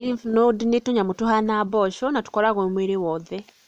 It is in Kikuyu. Lymph node nĩ tũnyamu tũhana mboco na tũkoragũo mwĩrĩ wothe.